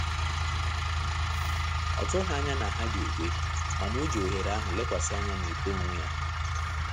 Ọ tughi anya na ha ga-ekewa mana ọjị ohere ahụ lekwasị anya na uto onwe ya